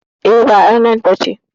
E, ba ƴar nan ba ce.